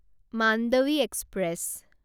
Mandvi express